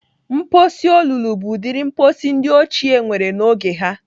Mposi olulu bụ ụdịrị mposi ndị ochie nwere n'oge ha.